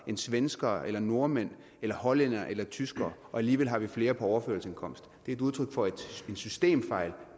end svenskere nordmænd hollænderne eller tyskere og alligevel har vi flere på overførselsindkomst det er et udtryk for en systemfejl